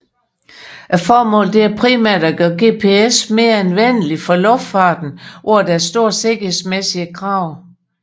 Formålet er primært at gøre GPS mere anvendeligt for luftfarten hvor der er store sikkerhedsmæssige krav